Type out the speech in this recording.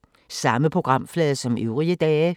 Samme programflade som øvrige dage